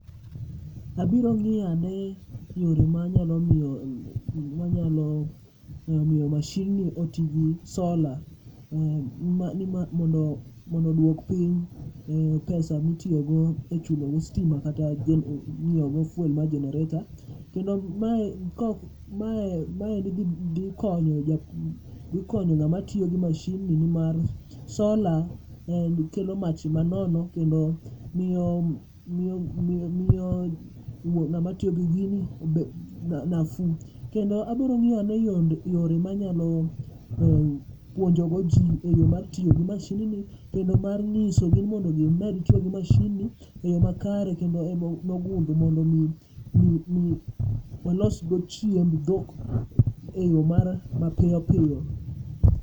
Abiro ng'iyane yore manyalo miyo, manyalo miyo mashin ni otigi sola. Mondo, mondo dwok piny pesa mitiyogo e chulo go stima kata ng'iewo go pol mar jenereta. Kendo mae kok mae maendi dhi dhi konyo japu, dhi konyo ng'ama tiyo gi mashin ni nimar sola en kelo mach manono kendo miyo, miyo wuo ng'ama tiyo gi gini obe nafu. Kendo abrong'iyane yonde yore manyalo puonjogo ji e yo mar tiyo gi mashin ni. Kendo mar ng'isogi ni mondo mi gimed tiyo gi mashin ni e yo makare. Kendo emo nogumbo mondo mi olosgo chiemb dhok e yo moro ma piyo piyo.